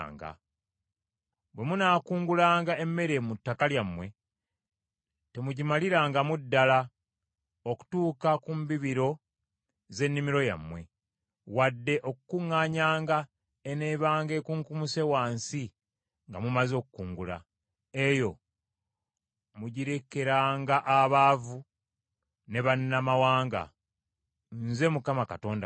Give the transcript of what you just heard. “Bwe munaakungulanga emmere mu ttaka lyammwe temugimalirangamu ddala okutuuka ku mbibiro z’ennimiro yammwe, wadde okukuŋŋaanyanga eneebanga ekunkumuse wansi nga mumaze okukungula. Eyo mugirekeranga abaavu ne bannamawanga. Nze Mukama Katonda wammwe.”